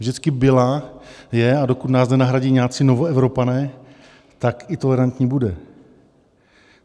Vždycky byla, je, a dokud nás nenahradí nějací Novoevropané, tak i tolerantní bude.